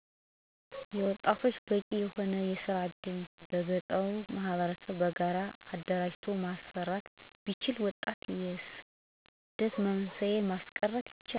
የወጣቶች በቂ የሆነ የስራ እድል በገጠሩ ማህበረሰብ በጋራ አደራጅቶ ማሰራት ቢቻል ወጣቶችን የስደት መንስኤ ማስቀርት ይቻላል።